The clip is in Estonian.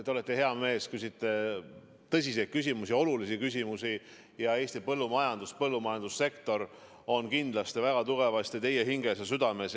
Te olete hea mees, küsite tõsiseid küsimusi, olulisi küsimusi ja Eesti põllumajandus, põllumajandussektor on kindlasti väga tugevasti teie hinges ja südames.